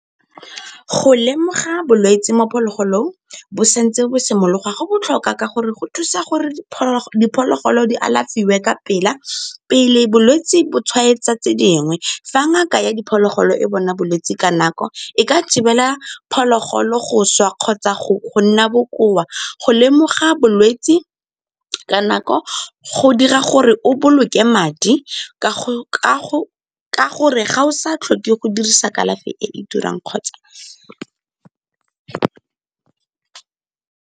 Go lemoga bolwetse mo phologolong bo sa ntse bo simologa go botlhokwa ka gore go thusa gore diphologolo di alafiwe ka pela, pele bolwetse bo tshwaetsa tse dingwe. Fa ngaka ya diphologolo e bona bolwetse ka nako e ka thibela phologolo go swa kgotsa go nna bokoa. Go lemoga bolwetse ka nako go dira gore o boloke madi ka gore ga o sa tlhoke go dirisa kalafi e e turang kgotsa.